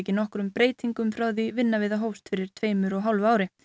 nokkrum breytingum frá því vinna við það hófst fyrir tveimur og hálfu ári